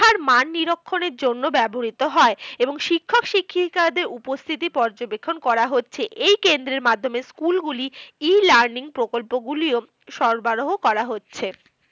মান নিরক্ষনের জন্য ব্যাবহৃত হয়। এবং শিক্ষক শিক্ষিকাদের উপস্থিতি পর্যবেক্ষণ করা হচ্ছে। এই কেন্দ্রের মাধ্যমে school গুলি E learning প্রকল্পগুলিও সরবরাহ করা হচ্ছে।